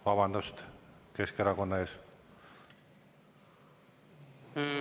Vabandust Keskerakonna ees!